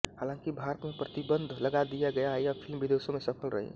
हालांकि भारत में प्रतिबंध लगा दिया गया यह फिल्म विदेशों में सफल रही